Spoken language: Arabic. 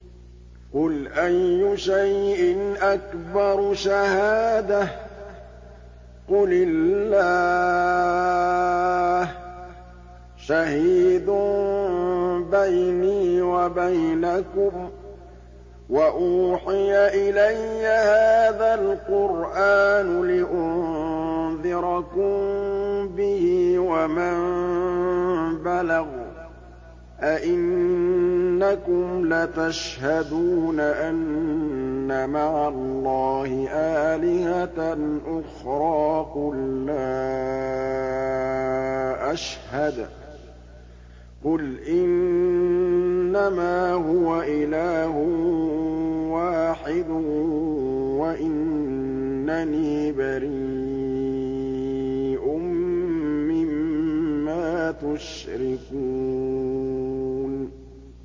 قُلْ أَيُّ شَيْءٍ أَكْبَرُ شَهَادَةً ۖ قُلِ اللَّهُ ۖ شَهِيدٌ بَيْنِي وَبَيْنَكُمْ ۚ وَأُوحِيَ إِلَيَّ هَٰذَا الْقُرْآنُ لِأُنذِرَكُم بِهِ وَمَن بَلَغَ ۚ أَئِنَّكُمْ لَتَشْهَدُونَ أَنَّ مَعَ اللَّهِ آلِهَةً أُخْرَىٰ ۚ قُل لَّا أَشْهَدُ ۚ قُلْ إِنَّمَا هُوَ إِلَٰهٌ وَاحِدٌ وَإِنَّنِي بَرِيءٌ مِّمَّا تُشْرِكُونَ